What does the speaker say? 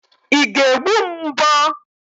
Ị ga-egbu m mbọ?